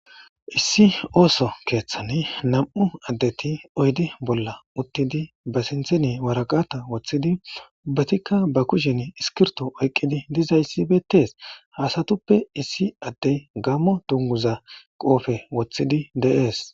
Issi ooso keeththani nam"u addeti oydde bolla uttidi ba sinthini waraqata woththidi ubbatikka ba kushen iskirto oyqqidi dizayssi beettees. ha asatuppe issi addey gammo dunguza qoofe woththidi de'ees